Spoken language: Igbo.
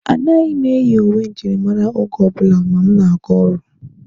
Anaghị m eyi uwe njirimara oge ọbụla ma m na-aga ọrụ.